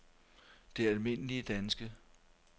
Det Alm. Danske